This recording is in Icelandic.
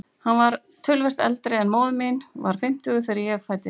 Hann var töluvert eldri en móðir mín, var fimmtugur þegar ég fæddist.